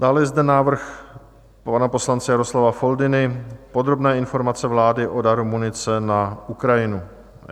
Dále je zde návrh pana poslance Jaroslava Foldyny - Podrobná informace vlády o daru munice na Ukrajinu.